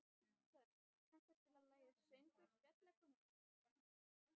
Þöll, kanntu að spila lagið „Söngur fjallkonunnar“?